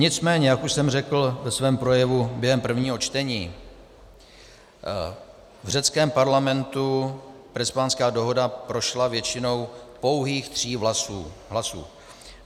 Nicméně jak už jsem řekl ve svém projevu během prvního čtení, v řeckém parlamentu Prespanská dohoda prošla většinou pouhých tří hlasů.